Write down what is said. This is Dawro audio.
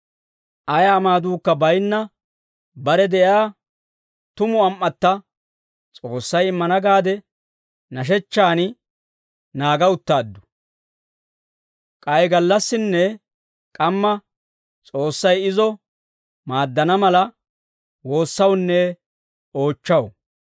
Ayaa maaduukka baynna bare de'iyaa tumu am"atta S'oossay immana gaade nashechchan naaga uttaaddu. K'ay gallassinne k'amma S'oossay izo maaddana mala, woossawunne oochchaw.